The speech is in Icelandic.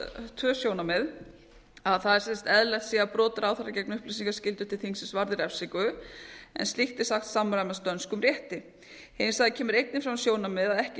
tvö sjónarmið að eðlilegt sé að brot ráðherra gegn upplýsingaskyldu varði refsingu en slíkt er sagt samræmast dönskum rétti hins vegar kemur einnig fram sjónarmið að ekki